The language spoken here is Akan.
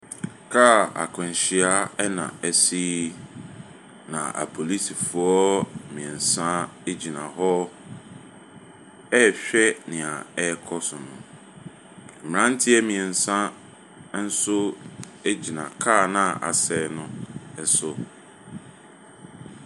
Kaa akwanhyia na asi, na apolisifoɔ mmiɛnsa ɛgyina hɔ ɛrehwɛ deɛv ɛrekɔ so. Mmeranteɛ mmiɛnsa nso ɛgyina kaa no a asɛe no so.